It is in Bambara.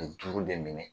duuru de minɛ